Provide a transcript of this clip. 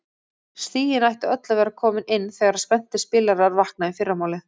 Stigin ættu öll að vera komin inn þegar spenntir spilarar vakna í fyrramálið.